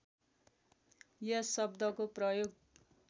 यस शब्दको प्रयोग